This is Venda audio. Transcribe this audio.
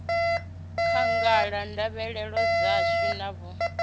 khagala ndavhelelo dzashu na vhud